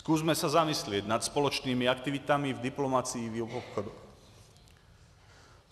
Zkusme se zamyslet nad společnými aktivitami v diplomacii i v obchodě.